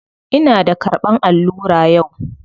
Ina da karɓan allura yau.